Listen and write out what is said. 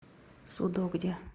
судогде